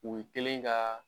U kɛlen ka